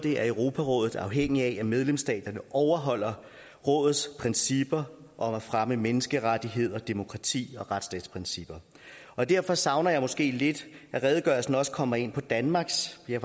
er europarådet afhængigt af at medlemsstaterne overholder rådets principper om at fremme menneskerettigheder demokrati og retsstatsprincipper derfor savner jeg måske lidt at redegørelsen også kommer ind på danmarks ja